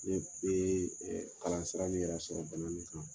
Ne bɛ kalan sira in yɛrɛ sɔrɔ bɔlɔlɔ kan.